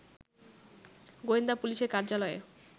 গোয়েন্দা পুলিশের কার্যালয়ে